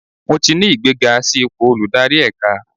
Mo ti ní ìgbéga sí ipò olùdarí ẹ̀ka.